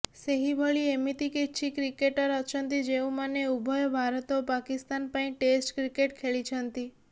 ସେହିଭଳି ଏମତି କିଛି କ୍ରିକେଟର ଅଛନ୍ତି ଯେଉଁମାନେ ଉଭୟ ଭାରତ ଓ ପାକିସ୍ତାନ ପାଇଁ ଟେଷ୍ଟ କ୍ରିକେଟ ଖେଳିଛନ୍ତି